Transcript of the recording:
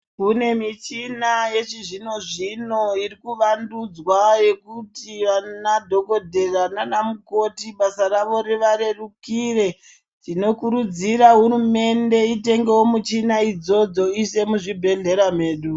Kune michina yechizvino-zvino iri kuvandudzwa yekuti vanadhokodhera naanamukoti basa ravo rivarerukire .Tinokurudzira hurumende itengewo michina idzodzo, iise muzvibhedhlera medu.